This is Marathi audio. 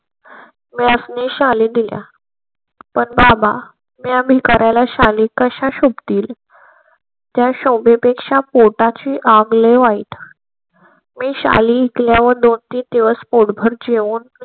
मयास्नी शाली दिल्या पण बाबा म्या भिकाऱ्याला शाली कशा शोभ तील? च्या शोभे पेक्षा पोटा ची आग ले वाईट मी शाली ऐकल्या व दोन तीन दिवस पॉट भर जेवून .